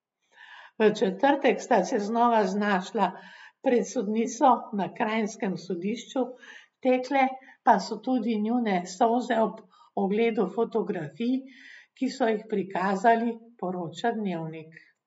V četrtek sta se znova znašla pred sodnico na kranjskem sodišču, tekle pa so tudi njune solze ob ogledu fotografij, ki so jih prikazali, poroča Dnevnik.